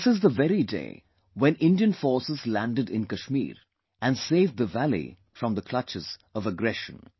This is the very day when Indian Forces landed in Kashmir and saved the valley from the clutches of aggression